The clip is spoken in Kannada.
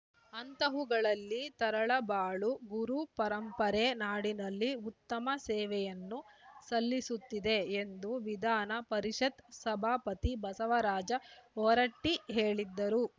ಅಂಥವುಗಳಲ್ಲಿ ತರಳಬಾಳು ಗುರುಪರಂಪರೆ ನಾಡಿನಲ್ಲಿ ಉತ್ತಮ ಸೇವೆಯನ್ನು ಸಲ್ಲಿಸುತ್ತಿದೆ ಎಂದು ವಿಧಾನ ಪರಿಷತ್‌ ಸಭಾಪತಿ ಬಸವರಾಜ ಹೊರಟ್ಟಿಹೇಳಿದರು